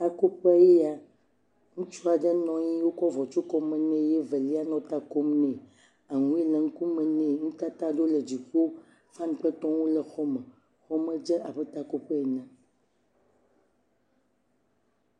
Takoƒe ye ya, ŋutsu aɖe nɔ anyi eye wotsɔ avɔ tso kɔme nɛ eye evelia le ta kom nɛ, ahuhɔe le ŋkume nɛ eye nutata aɖe le dziƒo fani kple etɔwo le xɔme, xɔ me dze abne takoƒe ene.